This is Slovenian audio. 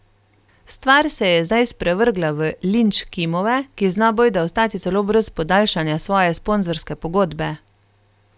Stvar se je zdaj sprevrgla v linč Kimove, ki zna bojda ostati celo brez podaljšanja svoje sponzorske pogodbe.